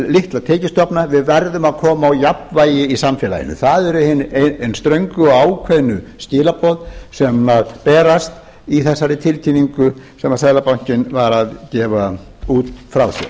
litla tekjustofna við verðum að koma á jafnvægi í samfélaginu það eru hin ströngu og ákveðnu skilaboð sem berast í þessari tilkynningu sem seðlabankinn var að gefa frá sér ég